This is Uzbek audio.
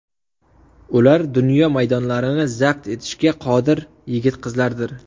Ular dunyo maydonlarini zabt etishga qodir yigit-qizlardir.